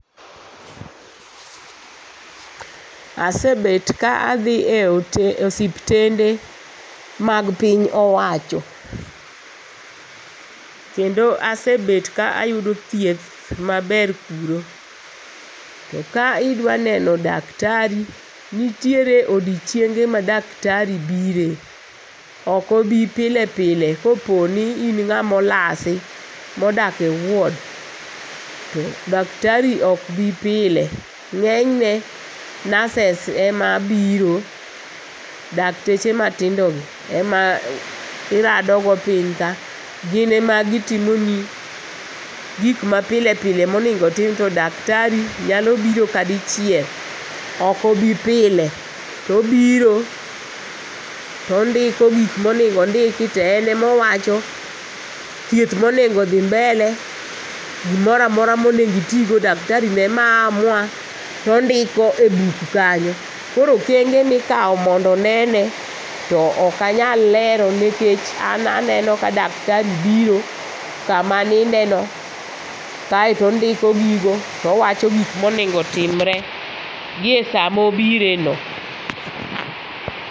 Asebet ka adhine osiptende mag piny owacho kendo asebet ka ayudo thieth maber kuro to ka dwa neno daktari, to nitie odichienge ma daktari biro to ok obi pile pile kopo ni in ng'ama olasi modak e ward to dak tari ok bi pile, ng'eny ne nurses ema biro, dakteche matindo gi ema iradogo piny ka gin ema gitimoni gik mapile pile monego otim to daktari to nyalo biro kadichiel, ok obi pile. To obiro to ondiko gik ma onego ondiki to en ema owacho thieth ma onego dhi mbele gik ma onego itigo daktarino ema amua, to ondiko e buk kanyo. Koro okenge mikawo mondo onene to ok anyal lero nikech an aneno ka daktari biro kama anindeno kae to ondiko gigo to owacho gik ma nego otimre giesa ma obireno.